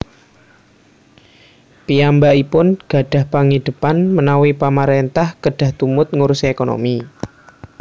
Piyambakipun gadhah pangidhepan menawi Pamaréntah kedah tumut ngurusi ékonomi